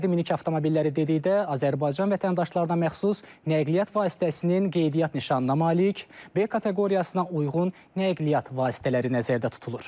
Fərdi minik avtomobilləri dedikdə Azərbaycan vətəndaşlarına məxsus nəqliyyat vasitəsinin qeydiyyat nişanına malik B kateqoriyasına uyğun nəqliyyat vasitələri nəzərdə tutulur.